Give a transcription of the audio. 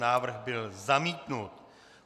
Návrh byl zamítnut.